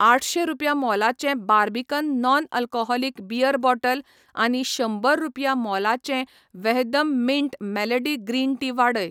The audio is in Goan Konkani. आठशे रुपया मोलाचें Barbican non alcoholic beer bottle आनी शंबर रुपया मोलाचें Vahdam mint melody green tea वाडय.